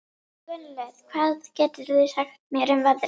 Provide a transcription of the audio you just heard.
Gunnlöð, hvað geturðu sagt mér um veðrið?